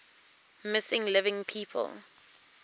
missing living people